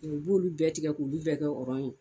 U b'ulu bɛɛ tigɛ k'ulu bɛɛ kɛ ɔrɔn ye.